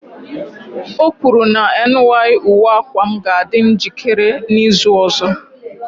O kwuru na ny uwe akwa m ga-adị njikere n'izu ọzọ